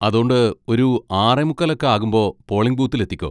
അതോണ്ട് ഒരു ആറേ മുക്കാൽ ഒക്കെ ആകുമ്പോ പോളിങ് ബൂത്തിൽ എത്തിക്കോ.